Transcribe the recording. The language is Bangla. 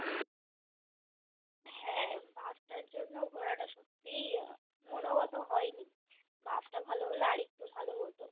হ্যাঁ bus টার জন্য ঘোরাটা সত্যিই মনোগত হয়নি bus টা ভালো হলে আরেকটু ভালো হতো